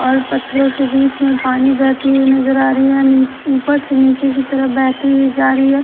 और पत्थरों के बीच में पानी बहती हुई नजर आ रही है नि ऊपर से नीचे की तरफ बहती हुई जा रही है।